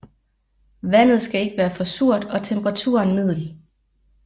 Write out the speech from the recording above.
Vandet skal ikke være for surt og temperaturen middel